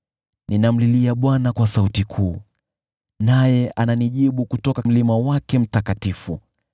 Ninamlilia Bwana kwa sauti kuu, naye ananijibu kutoka mlima wake mtakatifu.